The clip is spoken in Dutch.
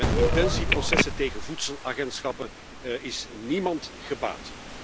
Met intentieprocessen tegen voedselagentschappen is niemand gebaat.